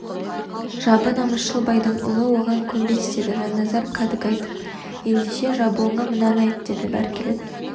жабы намысшыл байдың ұлы оған көнбес деді жанназар кәдік айтып ендеше жабуыңа мынаны айт деді бәркелет